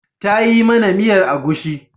Ta yi mana miyar agushi.